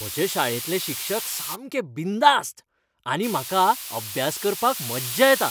म्हज्या शाळेंतले शिक्षक सामके बिनधास्त आनी म्हाका अभ्यास करपाक मज्जा येता.